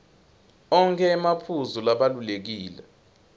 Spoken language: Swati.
onkhe emaphuzu labalulekile